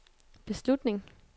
beslutning